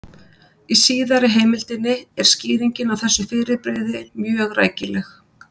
Í síðari heimildinni er skýringin á þessu fyrirbrigði mjög rækileg: